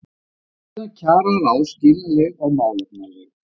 Ákvörðun kjararáðs skiljanleg og málefnaleg